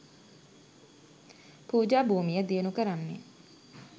පූජා භූමිය දියුණු කරන්නෙ